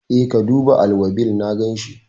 E, ka duba alwabil, na ganshi.